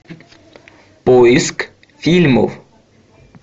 поиск фильмов